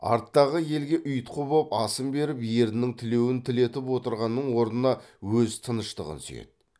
арттағы елге ұйтқы боп асын беріп ерінің тілеуін тілетіп отырғанның орнына өз тыныштығын сүйеді